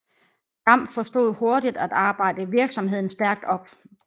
Damm forstod hurtigt at arbejde virksomheden stærkt op